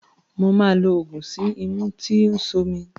Mo máa lo oògùn sí imú tó ń ṣomi.